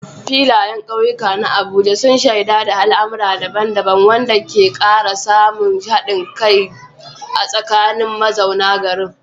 Filayen kauyukan na Abuja sun shaida al'amura daban-daban, wanda ke kara samun hadin kai a tsakanin mazauna garin.